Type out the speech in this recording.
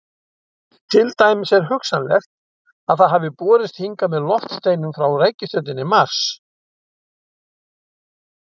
Til dæmis er hugsanlegt að það hafi borist hingað með loftsteinum frá reikistjörnunni Mars.